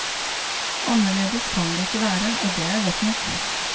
Annerledes kan det ikke være, og det er godt nok.